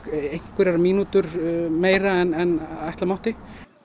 einhverjar mínútur meira en ætla mátti